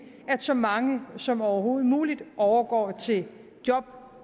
at så mange som overhovedet muligt overgår til job